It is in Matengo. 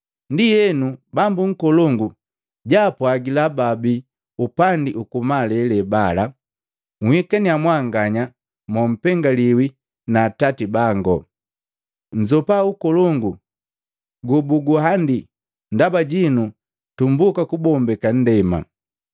Ndienu Bambu nkolongu jaapwagila baabii upandi ukumalele bala, ‘Nhikannya mwanganya mompengaliwi na Atati bango, nnzopa ukolongu gobuguhandi ndaba jinu tumbuka kubombeka nndema.